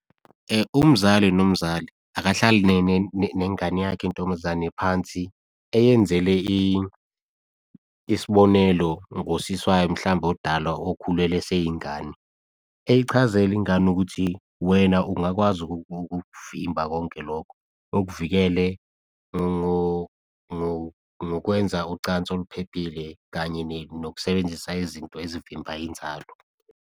Umzali nomzali akahlali nengane yakhe yentombazane phansi eyenzele isibonelo ngosis'wayo mhlawumbe omdala okhulelwe eseyingane. Eyichazele ingane ukuthi, wena ungakwazi ukukuvimba konke lokho. Ukuvikele ngokwenza ucansi oluphephile kanye nokusebenzisa izinto ezivimba inzalo.